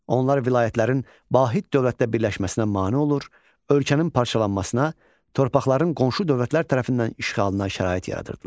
Onlar vilayətlərin vahid dövlətdə birləşməsinə mane olur, ölkənin parçalanmasına, torpaqların qonşu dövlətlər tərəfindən işğalına şərait yaradırdılar.